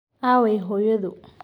Aaway hooyadu?